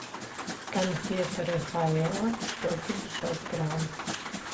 конфеты рафаэлло сто пятьдесят грамм